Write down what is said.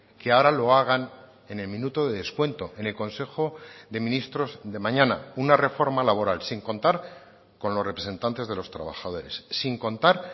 que ahora lo hagan en el minuto de descuento en el consejo de ministros de mañana una reforma laboral sin contar con los representantes de los trabajadores sin contar